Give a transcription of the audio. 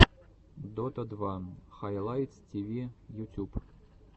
дота два хайлайтс тиви ютюб